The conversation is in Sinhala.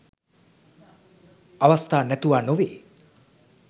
අවස්ථා නැතුවා නොවේ.